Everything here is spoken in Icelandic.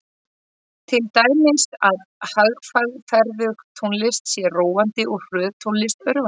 Til dæmis að hægferðug tónlist sé róandi og hröð tónlist örvandi.